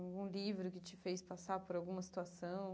Um livro que te fez passar por alguma situação?